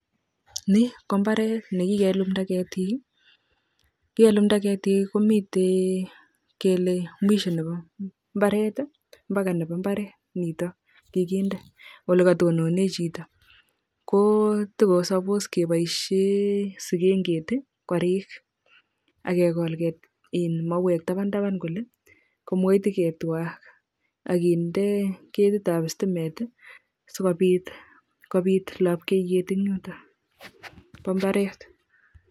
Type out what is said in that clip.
Ni ko mbaret nekikelumta ketik ko kikelumta ketik komitei kele mwisho nepo mbaret, mpaka nepo mbaret nekikinde olekatonone chito kotokosapos kepoishe sikenget korik akekol mauek tapan tapan kole komokoiteketwa akinde ketit ap sitimet sikopit lopkeiyet en yuto po mbaret